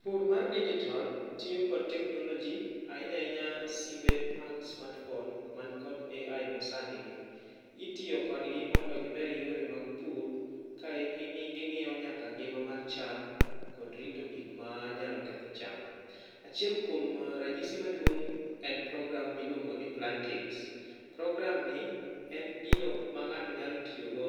Pur mar dijitol tiyo kod teknoloji ahinya ahinya simbe mag smart phone man kod AI masanigi. Itiyo kodgi mondo giber yore mag pur ka ging'iyo nyaka ngima mar cham kod rito gik manyalo ketho cham. Achiel kuom ranyisi maduong' en program miluongo ni plantix. Programni en gino ma ng'ato nyalo tiyogo